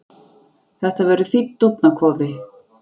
Þetta verður fínn dúfnakofi.